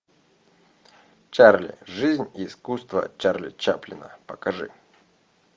чарли жизнь и искусство чарли чаплина покажи